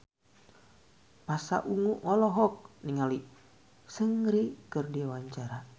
Pasha Ungu olohok ningali Seungri keur diwawancara